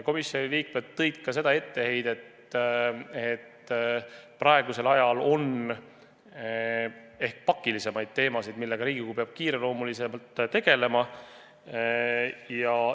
Komisjoni liikmed heitsid ette seda, et praegusel ajal on ehk pakilisemaid teemasid, millega Riigikogu peab kiireloomuliselt tegelema.